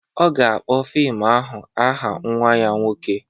Ọ ga-akpọ fim ahụ aha nwa ya nwoke